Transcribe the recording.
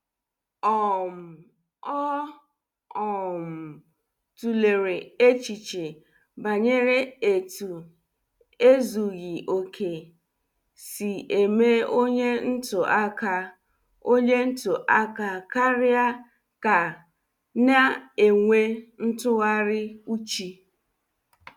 um Ọ um tulere echiche banyere etu ezughị okè, sị eme onye ntụ aka onye ntụ aka karịa ka na- enwe ntughari uchi.